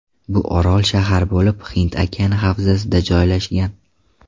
Bu orol-shahar bo‘lib, Hind okeani havzasida joylashgan.